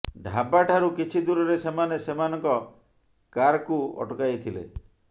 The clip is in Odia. ଢାବା ଠାରୁ କିଛି ଦୂରରେ ସେମାନେ ସେମାନଙ୍କ କାର୍କୁ ଅଟକାଇଥିଲେ